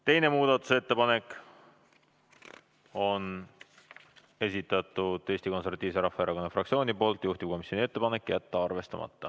Teise muudatusettepaneku on esitanud Eesti Konservatiivse Rahvaerakonna fraktsioon, juhtivkomisjoni ettepanek on jätta arvestamata.